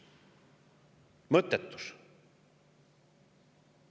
Mõttetus!